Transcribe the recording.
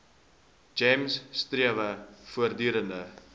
gems strewe voortdurend